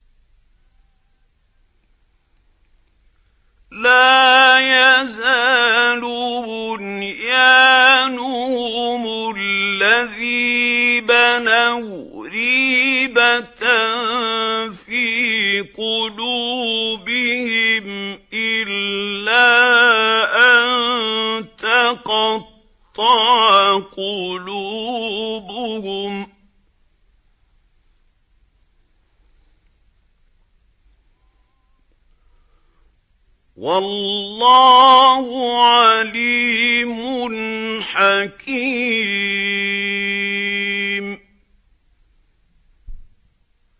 لَا يَزَالُ بُنْيَانُهُمُ الَّذِي بَنَوْا رِيبَةً فِي قُلُوبِهِمْ إِلَّا أَن تَقَطَّعَ قُلُوبُهُمْ ۗ وَاللَّهُ عَلِيمٌ حَكِيمٌ